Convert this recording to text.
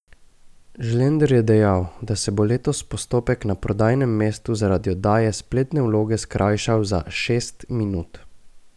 Žlender je dejal, da se bo letos postopek na prodajnem mestu zaradi oddaje spletne vloge skrajšal za šest minut.